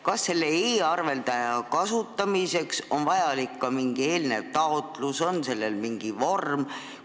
Kas selle e-arveldaja kasutamiseks on vaja ka mingit eelnevat taotlust, on sellel mingi vorm?